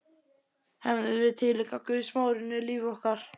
Hefðum við tileinkað guðsmóðurinni líf okkar?